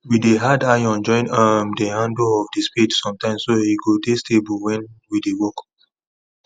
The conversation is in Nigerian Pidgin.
we dey add iron join um the handle of the spade sometimes so e go dey stable wen we dey work